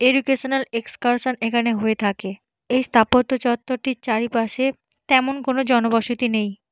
Educational excursion এইখানে হয়ে থাকে। এই স্থাপত্য চত্বরটির চারিপাশে তেমন কোন জনবসতি নেই।